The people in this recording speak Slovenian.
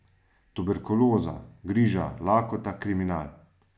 Tuberkuloza, griža, lakota, kriminal.